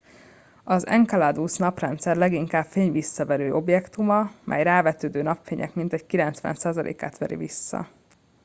az enceladus a naprendszer leginkább fényvisszaverő objektuma mely a rávetődő napfénynek mintegy 90%-át veri vissza